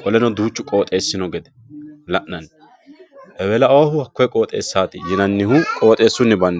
qoleno duuchu qooxeessi noo gede la'nani ewelaoohu hakko qooxeessaati yinanihu qoxeessunni bandeeti